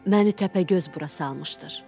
Məni Təpəgöz bura salmışdır.